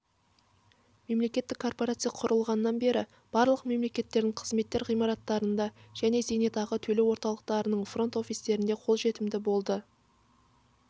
мемлекеттік корпорация құрылғаннан бері барлық мемлекеттік қызметтер ғимараттарында және зейнетақы төлеу орталықтарының фронт-офистерінде қолжетімді болды бл